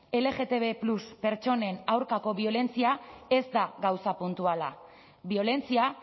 lgtb más pertsonen aurkako biolentzia ez da gauza puntuala biolentzia